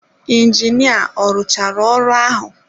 Injinia ọ rụchara ọrụ ahụ?